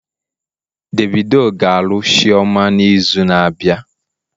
Davido ga-alụ chioma n'izu na-abịa